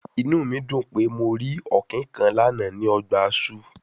Inu mi dun pe Mo ri Ọ̀kín kan lana ni ọgba ọgba zoo